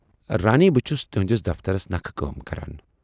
رانی بہٕ چھَس تُہٕندِس دفترس نکھٕ کٲم کران